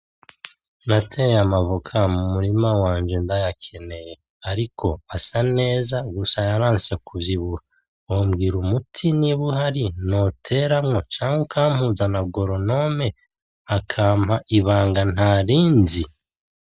Nateye amavoka mu murima wanje ndayakeneye ariko asa neza gusa yaranse kuvyibuha .Wonbgira umuti nimba uhari nkateramwo, canke ukampuza na goronome akampa ibanga ntarinzi?